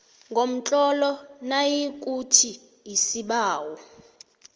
ngomtlolo nayikuthi isibawo